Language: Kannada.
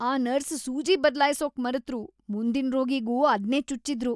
ಆ ನರ್ಸ್ ಸೂಜಿ ಬದ್ಲಾಯ್ಸೋಕ್ ಮರೆತ್ರು, ಮುಂದಿನ್ ರೋಗಿಗೂ ಅದ್ನೇ ಚುಚ್ಚಿದ್ರು.